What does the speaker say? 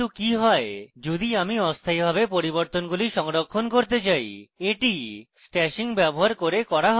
কিন্তু কি হয় যদি আমি অস্থায়ীভাবে পরিবর্তনগুলি সংরক্ষণ করতে চাই এটি stashing ব্যবহার করে করা save